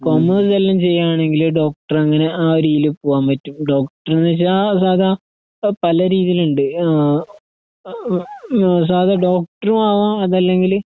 കൊമേഴ്‌സെല്ലാംചെയ്യണെങ്കില് ഡോക്ടറങ്ങനെ ആരീല് പോകാൻപറ്റും. ഡോക്ടർന്നുവെച്ചാ സാദാ അ പലരീതീലുണ്ട്. ആഹ് സാദാ ഡോക്ടറുമാവാം അതല്ലെങ്കില്